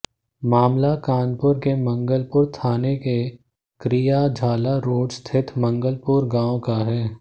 मामला कानपुर के मंगलपुर थाना के करियाझाला रोड स्थित मंगलपुर गांव का है